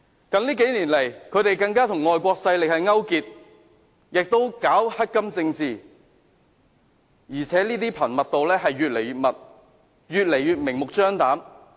近年，他們更與外國勢力勾結，並搞"黑金政治"，而且這些活動越來越頻密，越來越明目張膽。